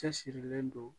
Cɛsirilen don